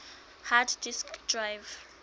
hard disk drive